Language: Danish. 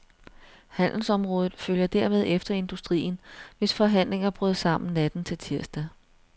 Handelsområdet følger dermed efter industrien, hvis forhandlinger brød sammen natten til tirsdag.